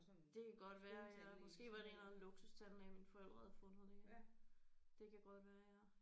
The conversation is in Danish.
Det kan godt være ja måske var det en eller anden luksustandlæge mine forældre havde fundet det. Det kan godt være